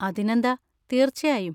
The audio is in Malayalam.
അതിനെന്താ, തീർച്ചയായും.